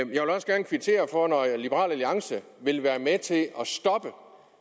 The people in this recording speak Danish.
jeg vil også gerne kvittere for at liberal alliance vil være med til at stoppe